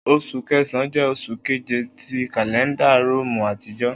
Oṣu Kẹsan jẹ oṣu keje ti kalẹnda Romu atijọ